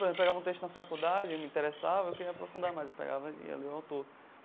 Pegava um texto na faculdade, me interessava, eu queria me aprofundar mais, eu pegava e ia ler o autor.